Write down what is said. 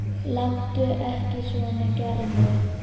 Láttu ekki svona Gerður.